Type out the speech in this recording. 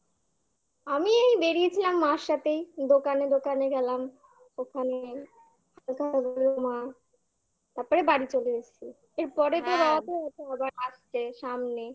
আমি এই বেরিয়েছিলাম মার সাথেই দোকানে দোকানে গেলাম ওখানে মা তারপরে বাড়ি চলে এসছি এরপরে হ্যাঁ তো আসছে সামনে